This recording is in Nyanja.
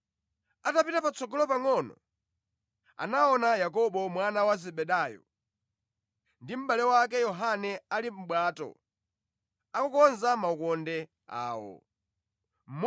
Atapita patsogolo pangʼono, anaona Yakobo ndi mʼbale wake Yohane ana a Zebedayo, ali mʼbwato akukonza makoka awo.